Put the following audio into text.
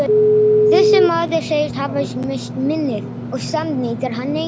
Þessi maður segist hafa misst minnið, og samt neitar hann engu.